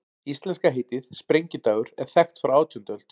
Íslenska heitið, sprengidagur, er þekkt frá átjándu öld.